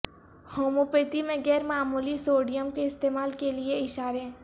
homeopathy میں غیر معمولی سوڈیم کے استعمال کے لئے اشارے